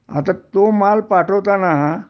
आता तो माल पाठवताना